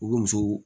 U bɛ muso